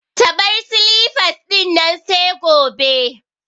Ta bar silifas dinnan sai gobe